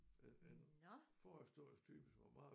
Den en forhistorisk type som er meget